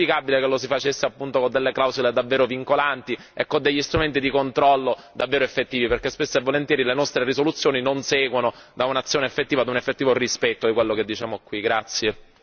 Sarebbe auspicabile che lo si facesse con delle clausole davvero vincolanti e con degli strumenti di controllo davvero effettivi, perché spesso e volentieri alle nostre risoluzioni non seguono un'azione effettiva e un effettivo rispetto di ciò che diciamo in questa sede.